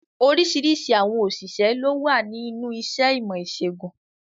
Oríṣiríṣi àwọn òṣìṣẹ́ lówà ní inú iṣẹ́ ìmọ̀-ìṣẹ̀gùn.